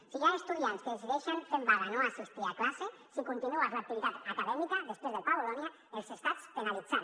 si hi ha estudiants que decideixen fer vaga no assistir a classe si continues l’activitat acadèmica després del pla bolonya els estàs penalitzant